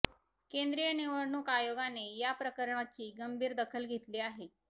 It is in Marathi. केंद्रीय निवडणूक आयोगाने या प्रकरणाची गंभीर दखल घेतली आहे